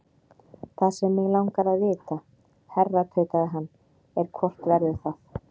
Það sem mig langar að vita, herra tautaði hann, er, hvort verður það?